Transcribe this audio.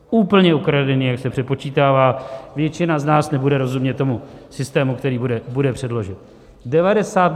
Úplně ukradené, jak se přepočítává, většina z nás nebude rozumět tomu systému, který bude předložen.